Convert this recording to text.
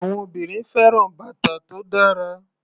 Àwọn obìnrin fẹ́ràn bàtà tó dára.